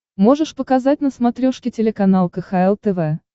можешь показать на смотрешке телеканал кхл тв